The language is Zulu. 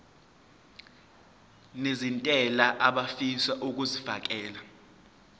nezentela abafisa uukfakela